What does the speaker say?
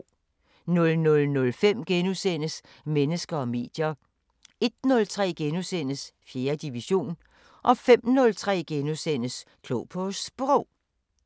00:05: Mennesker og medier * 01:03: 4. division * 05:03: Klog på Sprog *